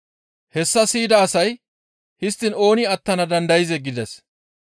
Hessa siyida asay, «Histtiin ooni attana dandayzee?» gides.